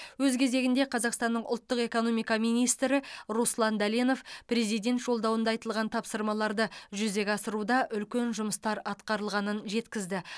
өз кезегінде қазақстанның ұлттық экономика министрі руслан дәленов президент жолдауында айтылған тапсырмаларды жүзеге асыруда үлкен жұмыстар атқарылғанын жеткізді